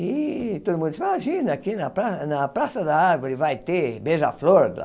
E todo mundo diz, imagina, aqui na Pra na praça da Árvore vai ter beija-flor.